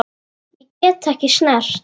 Ég get ekki snert.